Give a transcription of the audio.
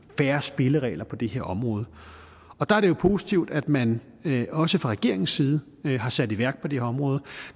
fair spilleregler på det her område og der er det jo positivt at man også fra regeringens side har sat noget i værk på det her område